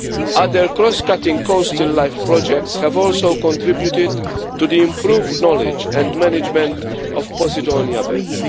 Other cross cutting coastal LIFE projects have also contributed to the improved knowledge and management of Posidonia beds.